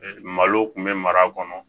Malo kun bɛ mara kɔnɔ